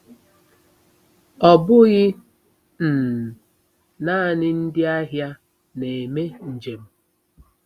Ọ bụghị um naanị ndị ahịa na-eme njem.